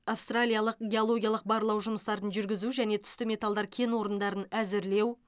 австралиялық геологиялық барлау жұмыстарын жүргізу және түсті металдар кен орындарын әзірлеу